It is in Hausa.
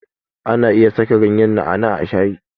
Ana iya saka ganyen na'a na'a a shayi.